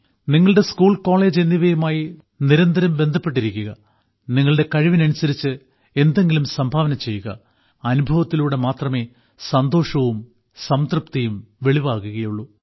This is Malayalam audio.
നിങ്ങളുടെ സ്കൂൾ കോളേജ് എന്നിവയുമായി നിരന്തരം ബന്ധപ്പെട്ടിരിക്കാൻ നിങ്ങളുടെ കഴിവിനനുസരിച്ച് എന്തെങ്കിലും സംഭാവന ചെയ്യാൻ അനുഭവത്തിലൂടെ മാത്രമേ സന്തോഷവും സംതൃപ്തിയും വെളിവാകുകയുള്ളൂ